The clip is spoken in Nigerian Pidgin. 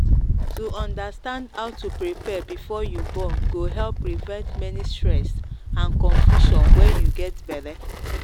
to understand how to prepare before you born go help prevent many stress and confusion when you get belle.